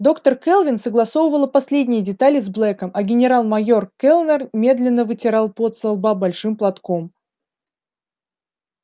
доктор кэлвин согласовывала последние детали с блэком а генерал-майор кэллнер медленно вытирал пот со лба большим платком